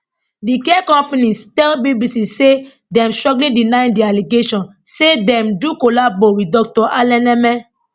di care company tell bbc say dem strongly deny di allegation say dem do collabo wit dr alaneme